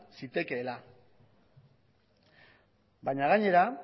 zitekeela baina gainera